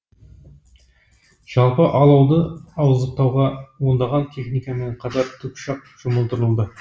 жалпы алауды ауыздықтауға ондаған техникамен қатар тікұшақ жұмылдырылды